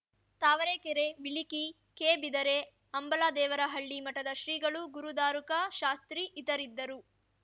ತಾವರೆಕೆರೆ ಬಿಳಿಕಿ ಕೆಬಿದರೆ ಅಂಬಲದೇವರಹಳ್ಳಿ ಮಠದ ಶ್ರೀಗಳು ಗುರುದಾರುಕ ಶಾಸ್ತ್ರಿ ಇತರಿರಿದ್ದರು